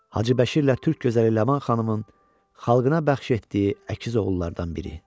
Hacı Bəşirlə Türk Gözəli Laman xanımın xalqına bəxş etdiyi əkiz oğullardan biri.